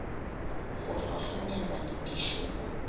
go hlohlonelwa le dišo mo